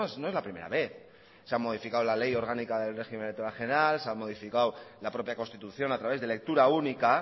no es la primera vez se ha modificado la ley orgánica del régimen electoral general se han modificado la propia constitución a través de lectura única